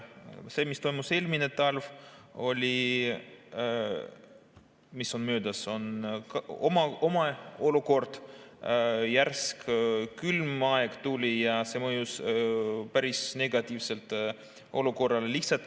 See, mis toimus eelmisel talvel, kui järsk külm aeg tuli, mõjus päris negatiivselt olukorrale.